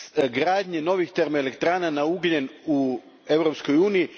gradnje novih termoelektrana na ugljen u Europskoj uniji?